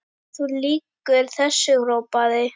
Þú lýgur þessu, hrópaði